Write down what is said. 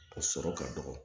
O sɔrɔ ka dɔgɔ